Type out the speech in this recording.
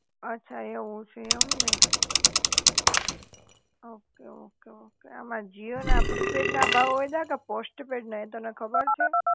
અછા, એવું છે એમને? ઓકે, ઓકે, ઓકે આમાં જીઓ ના પ્રીપેડ ના ભાવ વધ્યા કે પોસ્ટપેડ એ તને ખબર છે?